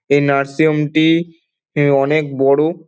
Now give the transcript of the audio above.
এই nursing home -টি-ই এ অনেক বড়ো।